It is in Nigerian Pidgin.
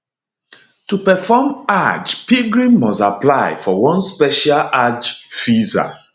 to perform hajj pilgrim must apply for one special hajj visa